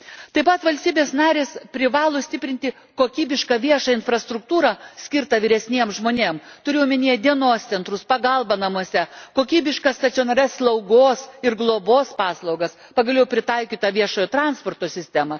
Taip pat valstybės narės privalo stiprinti kokybišką viešą infrastruktūrą, skirtą vyresniems žmonėms turiu omeny dienos centrus, pagalbą namuose, kokybiškas stacionarias slaugos ir globos paslaugas, pagaliau pritaikytą viešojo transporto sistemą.